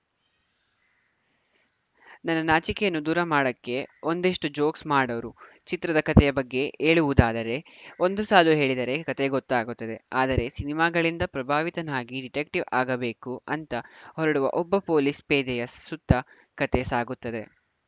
ನನ್ನ ನಾಚಿಕೆಯನ್ನು ದೂರ ಮಾಡಕ್ಕೆ ಒಂದಿಷ್ಟು ಜೋಕ್ಸ್‌ ಮಾಡೋರು ಚಿತ್ರದ ಕತೆಯ ಬಗ್ಗೆ ಹೇಳುವುದಾದರೆ ಒಂದು ಸಾಲು ಹೇಳಿದರೂ ಕತೆ ಗೊತ್ತಾಗುತ್ತದೆ ಆದರೆ ಸಿನಿಮಾಗಳಿಂದ ಪ್ರಭಾವಿತನಾಗಿ ಡಿಟೆಕ್ಟಿವ್‌ ಆಗಬೇಕು ಅಂತ ಹೊರಡುವ ಒಬ್ಬ ಪೊಲೀಸ್‌ ಪೇದೆಯ ಸುತ್ತ ಕತೆ ಸಾಗುತ್ತದೆ